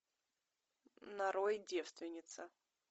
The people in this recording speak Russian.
нарой девственница